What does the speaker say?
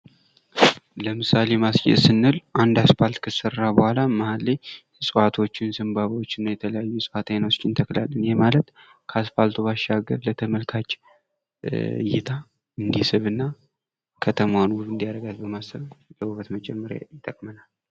ለምሳሌ ማስጌጥ ስንል አንድ አስፓልት ከሰራን በኋላ ከመሃል ላይ እጽዋቶችን እና ዘንባባዎችን እንተክላለን። ይህ ማለት ለተመልካጭ እንዲስብና ከተማን እንድያምር ለዉበት ነው።